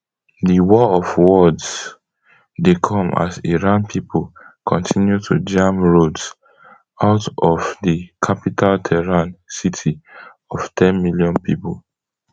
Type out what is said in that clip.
di war of words dey come as iran pipo kontinu to jam roads out of di capital tehran city of ten million pipo